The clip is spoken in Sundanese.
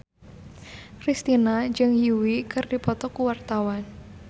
Kristina jeung Yui keur dipoto ku wartawan